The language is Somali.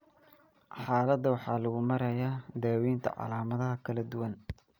Xaaladda waxaa lagu maareeyaa daaweynta calaamadaha kala duwan.